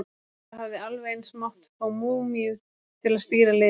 Það hefði alveg eins mátt fá múmíu til að stýra liðinu!